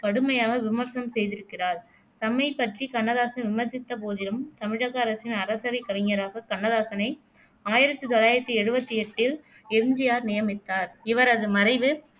கடுமையாக விமர்சனம் செய்திருக்கிறார் தம்மைப் பற்றி கண்ணதாசன் விமர்சித்தபோதிலும் தமிழக அரசின் அரசவைக் கவிஞராக கண்ணதாசனை ஆயிரத்தி தொள்ளாயிரத்தி எழுவத்தி எட்டில் எம். ஜி. ஆர் நியமித்தார் இவரது மறைவு